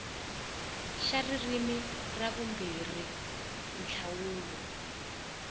xa ririmi ra vumbirhi nhlawulo